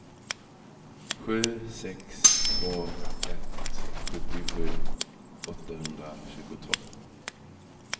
sju sex två ett sjuttiosju åttahundratjugotvå